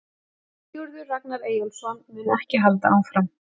Sigurður Ragnar Eyjólfsson mun ekki halda áfram.